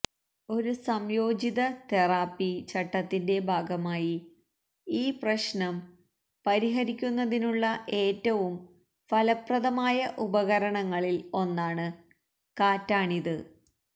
ഒരു സംയോജിത തെറാപ്പി ചട്ടത്തിന്റെ ഭാഗമായി ഈ പ്രശ്നം പരിഹരിക്കുന്നതിനുള്ള ഏറ്റവും ഫലപ്രദമായ ഉപകരണങ്ങളിൽ ഒന്നാണ് കാറ്റാണിത്